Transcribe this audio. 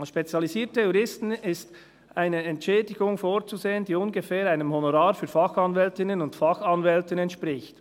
Als spezialisierte Juristen ist eine Entschädigung vorzusehen, die ungefähr einem Honorar für Fachanwältinnen und Fachanwälten entspricht.